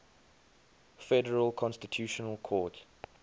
federal constitutional court